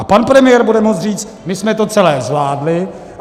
A pan premiér bude moci říct, my jsme to celé zvládli.